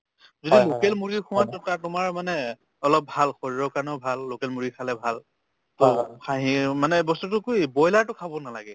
যদি local মুৰ্গী খোৱা to তাত তোমাৰ মানে অলপ ভাল শৰীৰ কাৰণেও ভাল local মুৰ্গী খালে ভাল খাহীও মানে বস্তুতো বইলাৰতো খাব নালাগে